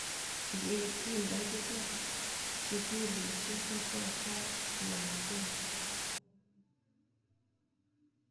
Ye kindakiger sukulisyek kopwa kaa lagok.